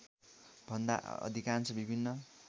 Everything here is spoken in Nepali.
भन्दा अधिकांश विभिन्न